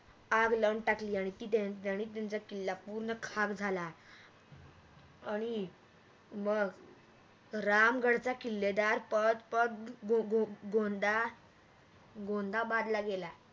आग लाऊन टाकली आणि त्याने त्यांचा किल्ला पूर्ण खाग झाला आणि मग राम गडचा किल्लेदार पळत पळत गोंदा गोंदाबादला गेला